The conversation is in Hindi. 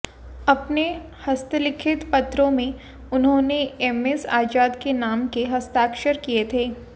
अपने हस्तलिखित पत्रों में उन्होंने एमएस आजाद के नाम के हस्ताक्षर किए थे